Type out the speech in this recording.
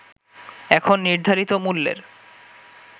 এখন নির্ধারিত মূল্যের